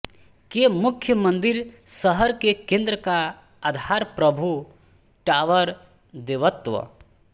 के मुख्य मंदिर शहर के केंद्र का आधार प्रभु टॉवर देवत्व